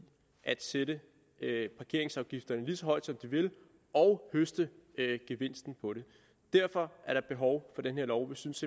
at sætte parkeringsafgifterne lige så højt som de vil og høste gevinsten på det derfor er der behov for den her lov vi synes